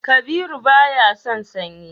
Kabiru baya son sanyi